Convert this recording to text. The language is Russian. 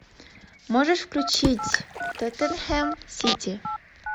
можешь включить тоттенхэм сити